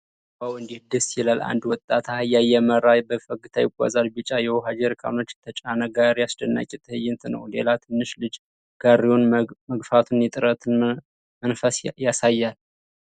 ዋው እንዴት ደስ ይላል! አንድ ወጣት አህያ እየመራ በፈገግታ ይጓዛል። ቢጫ የውሃ ጀሪካኖች የተጫነ ጋሪ አስደናቂ ትዕይንት ነው። ሌላ ትንሽ ልጅ ጋሪውን መግፋቱ የጥረትን መንፈስ ያሳያል።